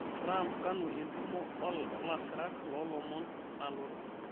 trump kanu entumo oolasirak loolomon nalotu